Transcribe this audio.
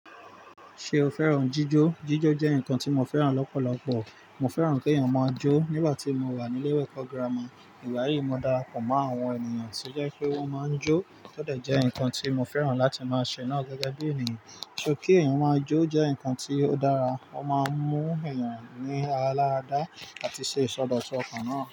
Ṣé o fẹ́ràn jíjó? Jíjó jẹ́ nǹkan tí mo fẹ́ràn lọ́pọ̀lọpọ̀. Mo fẹ́ràn kí èèyàn máa jó. Nígbà tí mo wà ní ilé ẹ̀kọ́ gírámà, ìgbayìí mo dára pọ̀ mọ́ àwọn ènìyàn tí ó jẹ́ pé wọ́n máa ń jó, to de jẹ́ nǹkan tí mo fẹ́ràn láti máa ṣe náà gẹ́gẹ́ bí ènìyàn. Sọ kí èèyàn máa jó jẹ́ nǹkan tí ó dára, ó máa ń mú èèyàn ní ara láradá àti ṣe ìsọdọ̀sọ ọkàn náà.